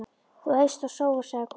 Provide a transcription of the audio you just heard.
Þú eyst og sóar, sagði konan.